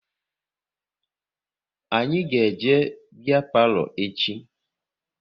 Anyị ga eje biya palo echi